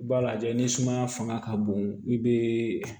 I b'a lajɛ ni sumaya fanga ka bon i be